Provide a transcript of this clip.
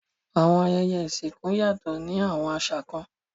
Awọn ayẹyẹ isinku yatọ ni awọn àṣà kan